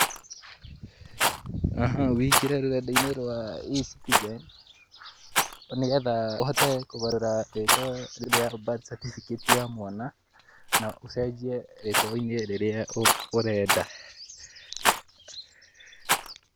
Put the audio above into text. Ũingĩre rũrenda-inĩ rwa e-Citizen, nĩgetha ũhote kũgarũra rĩtwa rĩa birth cerificate ya mwana, na ũcenjie rĩtwa-inĩ rĩrĩa ũrenda.